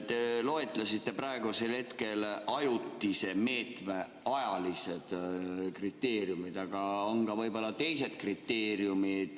Te loetlesite praegu ajutise meetme ajalisi kriteeriume, aga võib-olla on ka teisi kriteeriume.